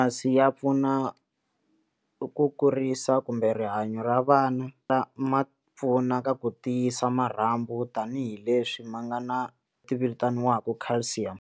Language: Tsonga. Masi ya pfuna ku kurisa kumbe rihanyo ra vana ma pfuna ka ku tiyisa marhambu tanihileswi ma nga na ti vitaniwaka Calcium.